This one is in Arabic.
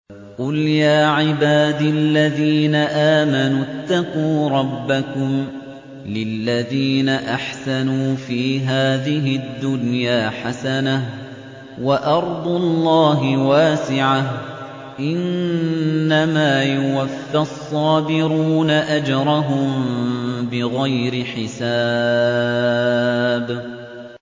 قُلْ يَا عِبَادِ الَّذِينَ آمَنُوا اتَّقُوا رَبَّكُمْ ۚ لِلَّذِينَ أَحْسَنُوا فِي هَٰذِهِ الدُّنْيَا حَسَنَةٌ ۗ وَأَرْضُ اللَّهِ وَاسِعَةٌ ۗ إِنَّمَا يُوَفَّى الصَّابِرُونَ أَجْرَهُم بِغَيْرِ حِسَابٍ